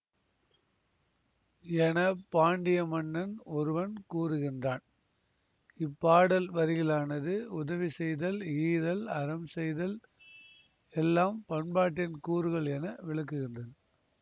என பாண்டிய மன்னன் ஒருவன் கூறுகின்றான்இப்பாடல் வரிகளானது உதவி செய்தல் ஈதல் அறம்செய்தல் எல்லாம் பண்பாட்டின் கூறுகள் என விளக்குகின்றது